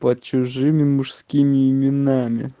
под чужими мужскими именами